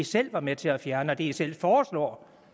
selv var med til at fjerne og det man selv foreslår